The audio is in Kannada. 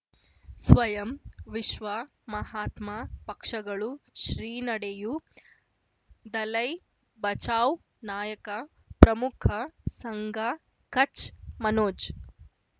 ಸ್ವಯಂ ವಿಶ್ವ ಮಹಾತ್ಮ ಪಕ್ಷಗಳು ಶ್ರೀ ನಡೆಯೂ ದಲೈ ಬಚೌ ನಾಯಕ ಪ್ರಮುಖ ಸಂಘ ಕಚ್ ಮನೋಜ್